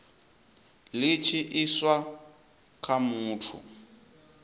li tshi iswa kha muthu